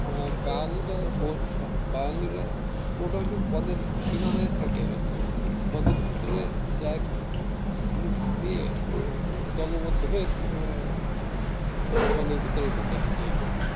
বাওয়ালীরা বাওয়ালীরা মোটামুটি বনের সীমানা থাকে হয়তো কিন্তু বনের ভেতর যায় group নিয়ে দলবদ্ধ হয়ে বনের ভেতরে ঢুকে হাইটে হাইটে